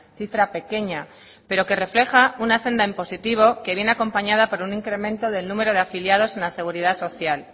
cifra pequeña pero que refleja una senda en positivo que viene acompañada por un incremento del número de afiliados en la seguridad social